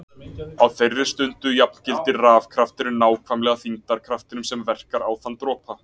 Á þeirri stundu jafngildir rafkrafturinn nákvæmlega þyngdarkraftinum sem verkar á þann dropa.